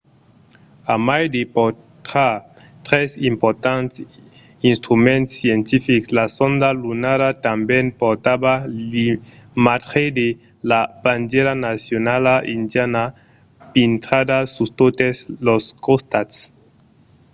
a mai de portar tres importants instruments scientifics la sonda lunara tanben portava l’imatge de la bandièra nacionala indiana pintrada sus totes los costats